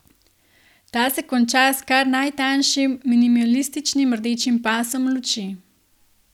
Ta se konča s kar najtanjšim, minimalističnim rdečim pasom luči.